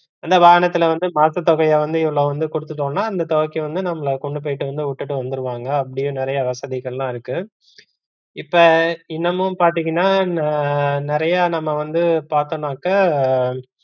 எல்லா வாகனத்துல வந்து மாற்றுதொகைய வந்து இவ்ளோ வந்து குடுத்துட்டோம்னா அந்த தொகைக்கு வந்து நம்மல கொண்டு போய்ட்டு வந்து விட்டுட்டு வந்துருவாங்க அப்படின்னு நிறையா வசதிகலாம் இருக்கு. இப்ப இன்னமும் பாத்தீங்கன்னா ந~ நிறையா நம்ம வந்து பாத்தோம்னாக்க